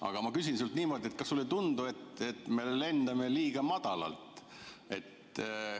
Aga ma küsin sinult niimoodi: kas sulle ei tundu, et me lendame liiga madalalt?